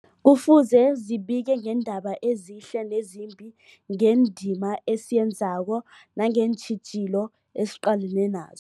Kufuze zibike ngeendaba ezihle nezimbi, ngendima esiyenzako nangeentjhijilo esiqalene nazo.